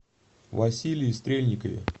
василии стрельникове